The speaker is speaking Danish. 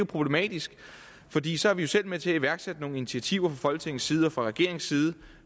problematisk fordi så er vi jo selv med til at iværksætte nogle initiativer folketingets side og fra regeringens side